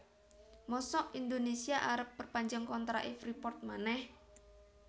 mosok Indonesia arep perpanjang kontrak e Freeport maneh